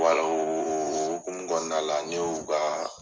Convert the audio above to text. o o o ol hokumu kɔnɔna la n ye o ka